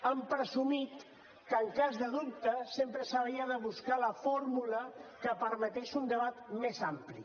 han presumit que en cas de dubte sempre s’havia de buscar la fórmula que permetés un debat més ampli